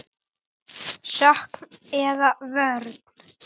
Sókn eða vörn?